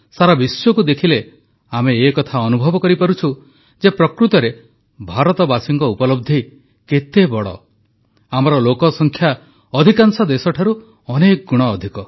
ସାରା ବିଶ୍ୱକୁ ଦେଖିଲେ ଆମେ ଏକଥା ଅନୁଭବ କରିପାରୁଛୁ ଯେ ପ୍ରକୃତରେ ଭାରତବାସୀଙ୍କ ଉପଲବ୍ଧି କେତେ ବଡ଼ ଆମର ଲୋକସଂଖ୍ୟା ଅଧିକାଂଶ ଦେଶଠାରୁ ଅନେକ ଗୁଣ ଅଧିକ